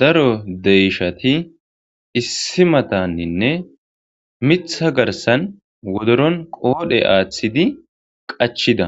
Daro deyshati issi matanninne mitha garsan wodoron qoodhe aaththidi qachida